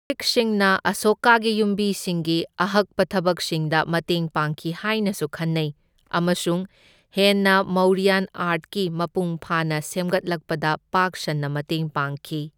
ꯒ꯭ꯔꯤꯛꯁꯤꯡꯅ ꯑꯁꯣꯀꯥꯒꯤ ꯌꯨꯝꯕꯤꯁꯤꯡꯒꯤ ꯑꯍꯛꯄ ꯊꯕꯛꯁꯤꯡꯗ ꯃꯇꯦꯡ ꯄꯥꯡꯈꯤ ꯍꯥꯏꯅꯁꯨ ꯈꯟꯅꯩ ꯑꯃꯁꯨꯡ ꯍꯦꯟꯅ ꯃꯧꯔꯤꯌꯥꯟ ꯑꯥꯔꯠꯀꯤ ꯃꯄꯨꯡ ꯐꯥꯅ ꯁꯦꯝꯒꯠꯂꯛꯄꯗ ꯄꯥꯛ ꯁꯟꯅ ꯃꯇꯦꯡ ꯄꯥꯡꯈꯤ꯫